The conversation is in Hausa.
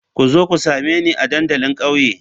Ku zo ku same ni a dandalin kauye.